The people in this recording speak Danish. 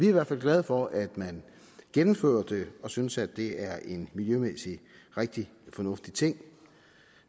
i hvert fald glade for at man gennemfører det og synes at det er en miljømæssigt rigtig fornuftig ting